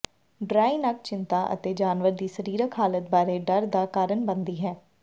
dry ਨੱਕ ਚਿੰਤਾ ਅਤੇ ਜਾਨਵਰ ਦੀ ਸਰੀਰਕ ਹਾਲਤ ਬਾਰੇ ਡਰ ਦਾ ਕਾਰਨ ਬਣਦੀ ਹੈ